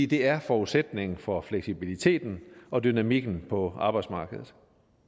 det er forudsætningen for fleksibiliteten og dynamikken på arbejdsmarkedet